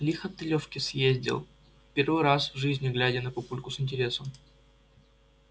лихо ты лёвке съездил первый раз глядя на папульку с интересом